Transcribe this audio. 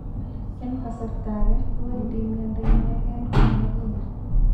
En kasarta age kowendi miondo inegen komaginya.